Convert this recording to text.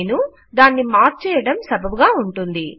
నేను దాన్ని మార్చేయడం సబబుగా ఉంటుంది